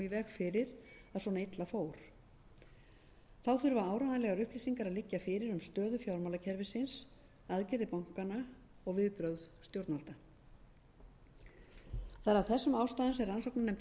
fyrir að svona illa fór þá þurfa áreiðanlegar upplýsingar að liggja fyrir um stöðu fjármálakerfisins aðgerðir bankanna og viðbrögð stjórnvalda það er af þessum ástæðum sem rannsóknarnefnd